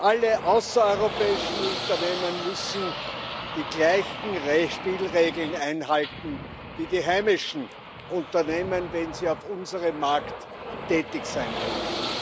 Alle außereuropäischen Unternehmen müssen die gleichen Spielregeln einhalten wie die heimischen Unternehmen, wenn sie auf unserem Markt tätig sein wollen.